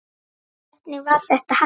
Hvernig var þetta hægt?